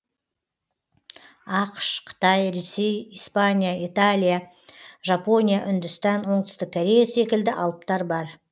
ақш қытай ресей испания италия жапония үндістан оңтүстік корея секілді алыптар бар